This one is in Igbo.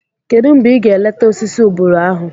Kedụ mgbe ị ga-leeta osisi ubulu ahụ?